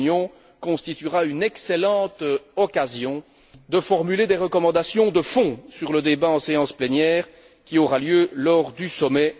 Cette réunion constituera une excellente occasion de formuler des recommandations de fond sur le débat en séance plénière qui aura lieu lors du sommet.